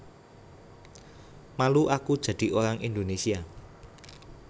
Malu Aku Jadi Orang Indonésia